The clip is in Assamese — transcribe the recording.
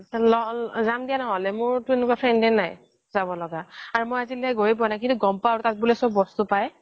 যাম দিয়া নহ'লে মোৰ এনেকুৱা friend এই নাই যাব লগা আৰু মই আজিলৈকে গৈ এই পোৱা নাই কিন্তু গম পাওঁ আৰু তাত বোলে চব বস্তু পায়